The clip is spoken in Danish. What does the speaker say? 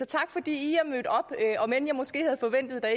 tak fordi i er mødt op om end jeg måske havde forventet at der